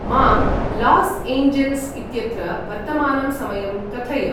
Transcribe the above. मां Los Angeles इत्यत्र वर्तमानं समयं कथय